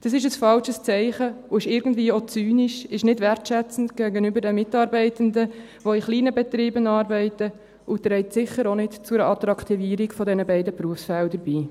Das ist ein falsches Zeichen und ist irgendwo auch zynisch, ist nicht wertschätzend gegenüber den Mitarbeitenden, die in kleinen Betrieben arbeiten, und trägt sicher auch nicht zu einer Attraktivierung dieser beiden Berufsfelder bei.